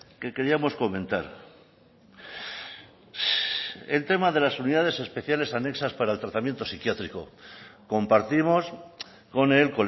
que queríamos comentar el tema de las unidades especiales anexas para el tratamiento psiquiátrico compartimos con el